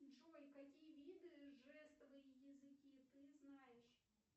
джой какие виды жестовые языки ты знаешь